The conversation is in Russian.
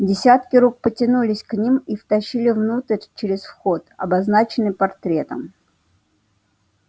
десятки рук потянулись к ним и втащили внутрь через вход обозначенный портретом